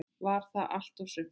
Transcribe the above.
Var það allt og sumt?